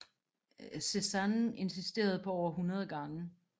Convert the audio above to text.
Cézanne insisterede på over 100 gange